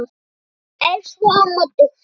Elsku amma Dóra.